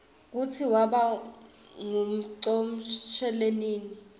kutsi waba nqumonqsmelinini